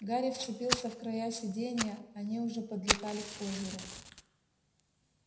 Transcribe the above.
гарри вцепился в края сиденья они уже подлетали к озеру